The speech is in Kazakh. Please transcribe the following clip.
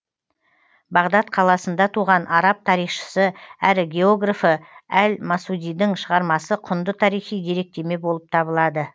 бағдат қаласында туған араб тарихшысы әрі географы әл масудидің шығармасы құнды тарихи деректеме болып табылады